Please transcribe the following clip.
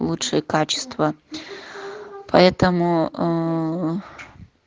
лучшие качества поэтому ээ